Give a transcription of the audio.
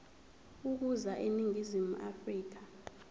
ukuza eningizimu afrika